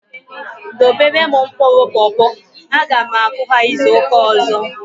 Dobere m mkpụrụ popo! A ga m akụ ha izuka ọzọ